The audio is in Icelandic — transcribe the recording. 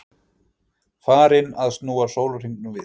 Farinn að snúa sólarhringnum við?